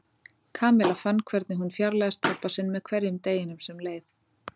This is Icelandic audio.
Kamilla fann hvernig hún fjarlægðist pabba sinn með hverjum deginum sem leið.